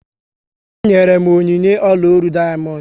Dị m nyere m onyinye ọla ólú dayamondu